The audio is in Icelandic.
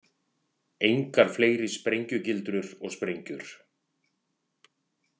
Engar fleiri sprengjugildrur og sprengjur.